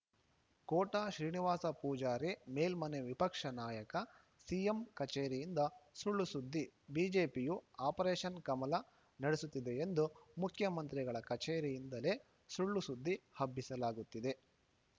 ಕೋಟ ಶ್ರೀನಿವಾಸ ಪೂಜಾರಿ ಮೇಲ್ಮನೆ ವಿಪಕ್ಷ ನಾಯಕ ಸಿಎಂ ಕಚೇರಿಯಿಂದ ಸುಳ್ಳು ಸುದ್ದಿ ಬಿಜೆಪಿಯು ಆಪರೇಷನ್‌ ಕಮಲ ನಡೆಸುತ್ತಿದೆ ಎಂದು ಮುಖ್ಯಮಂತ್ರಿಗಳ ಕಚೇರಿಯಿಂದಲೇ ಸುಳ್ಳು ಸುದ್ದಿ ಹಬ್ಬಿಸಲಾಗುತ್ತಿದೆ